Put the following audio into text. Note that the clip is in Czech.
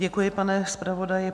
Děkuji, pane zpravodaji.